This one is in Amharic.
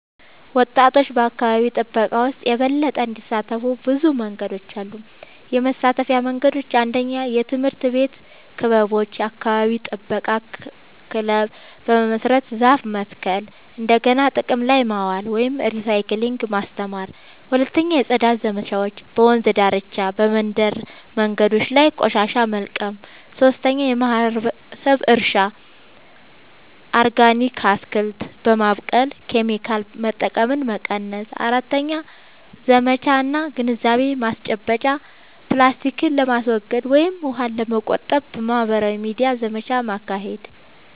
ወጣቶች በአካባቢ ጥበቃ ውስጥ የበለጠ እንዲሳተፉ ብዙ መንገዶች አሉ -የመሳተፊያ መንገዶች፦ 1. የትምህርት ቤት ክበቦች – የአካባቢ ጥበቃ ክለብ በመመስረት ዛፍ መትከል፣ እንደገና ጥቅም ላይ ማዋል (recycling) ማስተማር። 2. የጽዳት ዘመቻዎች – በወንዝ ዳርቻ፣ በመንደር መንገዶች ላይ ቆሻሻ መልቀም። 3. የማህበረሰብ እርሻ – ኦርጋኒክ አትክልት በማብቀል ኬሚካል መጠቀምን መቀነስ። 4. ዘመቻ እና ግንዛቤ ማስጨበጫ – ፕላስቲክን ለማስወገድ ወይም ውሃን ለመቆጠብ በማህበራዊ ሚዲያ ዘመቻ ማካሄድ።